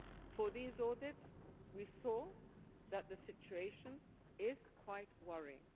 For these audits, we saw that the situation is quite worrying.